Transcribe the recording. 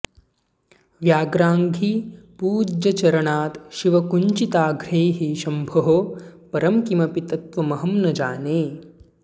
व्याघ्रांघ्रि पूज्यचरणात् शिवकुञ्चिताङ्घ्रेः शम्भोः परं किमपि तत्त्वमहं न जाने